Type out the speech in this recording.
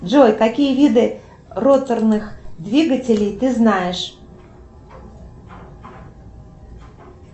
джой какие виды роторных двигателей ты знаешь